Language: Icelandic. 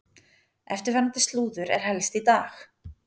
Eftirfarandi slúður er helst í dag: